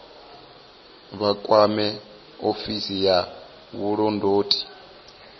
vha kwame ofisi ya vhulondoti